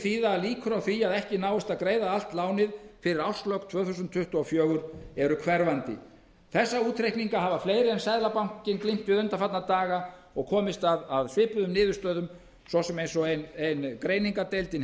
þýða að líkur á því að ekki náist að greiða allt lánið fyrir árslok tvö þúsund tuttugu og fjögur eru hverfandi ég segi það það er sannfæring mín eftir að hafa skoðað þessa hluti það eru ekki þessi mál sem eru okkur alvarlegasta áhyggjuefnið í augnablikinu það